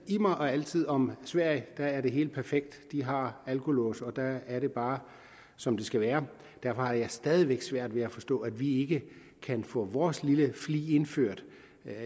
immer og altid om at sverige er det hele perfekt de har alkolåse og der er det bare som det skal være derfor har jeg stadig væk svært ved at forstå at vi ikke kan få vores lille flig indført